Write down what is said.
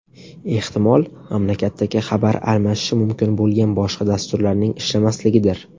Ehtimol mamlakatdagi xabar almashishi mumkin bo‘lgan boshqa dasturlarning ishlamasligidir.